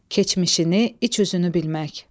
Keçmişini, iç üzünü bilmək.